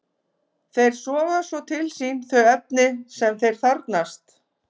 Þeir soga svo til sín þau efni sem þeir þarfnast.